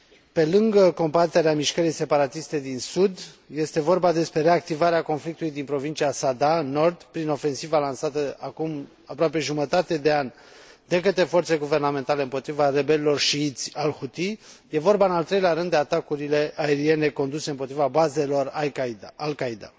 Pe lângă combaterea mișcării separatiste din sud, este vorba despre reactivarea conflictului din provincia Saada în nord prin ofensiva lansată acum aproape jumătate de an de către forțele guvernamentale împotriva rebelilor șiiți al Huthi și despre atacurile aeriene conduse împotriva bazelor Al Qaeda.